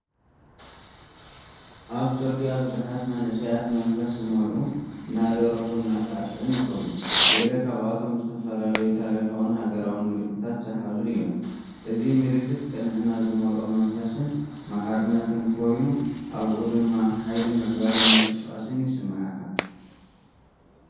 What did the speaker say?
ኣብ ጽርግያ ብዙሓት መንእሰያት መንፈስ ዝመልኡ፡ እናደረፉን እናሳዕስዑን ይኸዱ። ገለ ካብኣቶም ዝተፈላለዩ ታሪኻውን ሃገራውን ምልክታት ዝሓዙ እዮም። እዚ ምልክት ቅንዕና ዝመልኦ መንፈስን ማዕርነትን ኮይኑ፡ ኣብኡ ድማ ሓይሊ ምዕባለን ምንቅስቓስን ይስመዓካ።